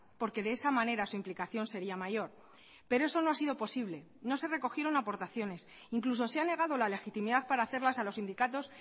porque de esa manera su implicación seria mayor pero eso no ha sido posible no se recogieron aportaciones incluso se ha negado la legitimidad para hacerlas a los sindicatos